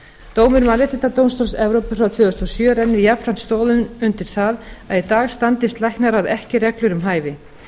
dómur mannréttindadómstóls evrópu frá tvö þúsund og sjö rennir jafnframt stoðum undir það að í dag standist læknaráð ekki reglur um hæfi